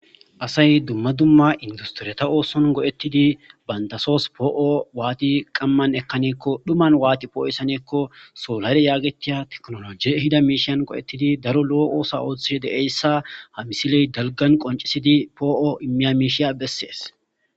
asay dumma dumma industiriyata ooson go7ettidi bantasoos poo7o waati qamman ekkanikko dhumman waati poo7isanekko soolare yaagetiya teknologe hida miishiyan go7ettidi daro loo oosa ooththe deeyssa ha misiley dalgan qoncisidi poo7o immiya miishiya bessees